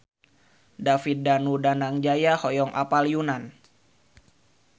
David Danu Danangjaya hoyong apal Yunan